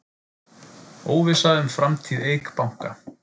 Óvissa um framtíð Eik Banka